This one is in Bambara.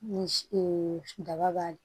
Ni daba b'a la